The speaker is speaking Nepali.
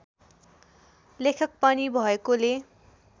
लेखक पनि भएकोले